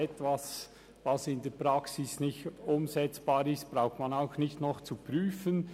Etwas, das in der Praxis nicht umsetzbar ist, braucht man nicht auch noch zu prüfen.